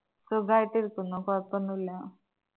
സുഖായിട്ടിരിക്കുന്നു കൊഴപ്പോന്നുല്ലാ